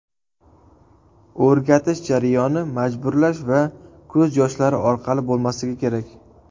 O‘rgatish jarayoni majburlash va ko‘z yoshlari orqali bo‘lmasligi kerak.